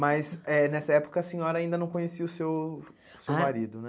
Mas eh nessa época a senhora ainda não conhecia o seu seu marido, né?